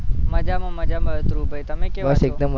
મજામાં, મજામાં મજામાં ધ્રુવભાઈ તમે કેમ છો બસ એકદમ